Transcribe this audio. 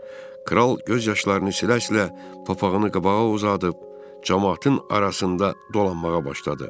Kral göz yaşlarını silə-silə papağını qabağa uzadıb camaatın arasında dolanmağa başladı.